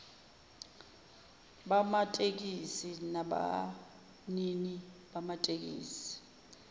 bamatekisi nabanini bamatekisi